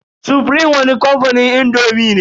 Sufrim wani kamfanin indomi ne.